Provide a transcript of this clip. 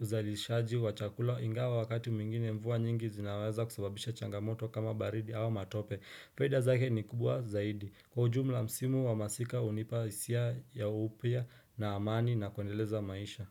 uzalishaji wa chakula ingawa wakati mwingine mvuu nyingi zinaweza kusababisha changamoto kama baridi au matope. Faida zake ni kubwa zaidi. Kwa ujumla msimu wa masika hunipa hisia ya upya na amani na kuendeleza maisha.